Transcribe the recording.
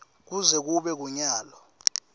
kuze kube kunyalo